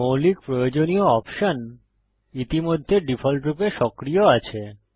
মৌলিক প্রয়োজনীয় অপশন ইতিমধ্যে ডিফল্টরূপে সক্রিয় আছে